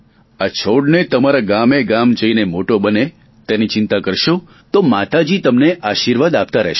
આ છોડને તમારા ગામેગામ જઇને તે મોટો બને તેની ચિંતા કરશો તો માતાજી તમને આશીર્વાદ આપતા રહેશે